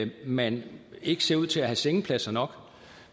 man ikke ser ud til at have sengepladser nok